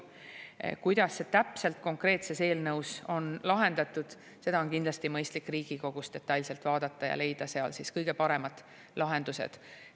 Seda, kuidas see täpselt konkreetses eelnõus on lahendatud, on kindlasti mõistlik Riigikogus detailselt vaadata ja leida siis kõige paremad lahendused.